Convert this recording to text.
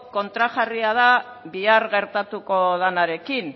kontrajarria den bihar gertatuko denarekin